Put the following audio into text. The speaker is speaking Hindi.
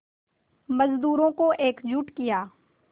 मज़दूरों को एकजुट किया